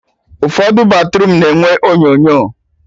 Ụfọdụ batruum na-enwe onyonyo